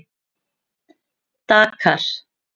Dakar